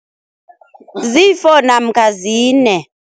Ziyi-four namkha zine.